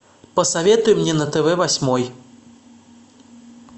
посоветуй мне на тв восьмой